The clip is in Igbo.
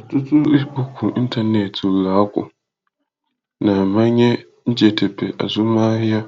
Ọtụtụ ikpokwu ịntanetị ụlọakụ na-amanye njedebe azụmahịa